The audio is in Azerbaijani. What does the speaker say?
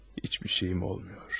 Heç bir şeyim olmur.